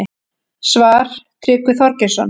Svar: Tryggvi Þorgeirsson